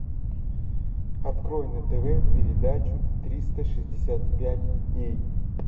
открой на тв передачу триста шестьдесят пять дней